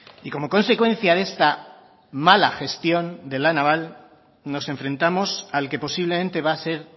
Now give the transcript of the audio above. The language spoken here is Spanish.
y como consecuencia de esta mala gestión de la naval nos enfrentamos al que posiblemente va a ser